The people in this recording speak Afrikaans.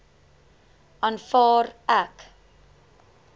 aanvaar ek